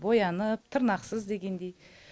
боянып тырнақсыз дегендей